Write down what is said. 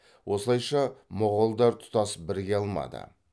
осылайша моғолдар тұтас біріге алмады